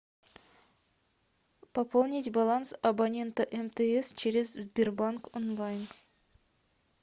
пополнить баланс абонента мтс через сбербанк онлайн